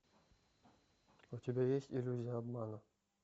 у тебя есть иллюзия обмана